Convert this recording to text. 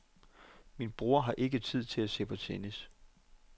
Min bror har ikke tid til at se på tennis.